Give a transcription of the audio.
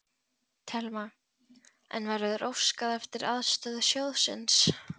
Telma: En verður óskað eftir aðstoð sjóðsins?